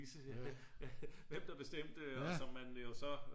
Hvem der bestemte og som man jo så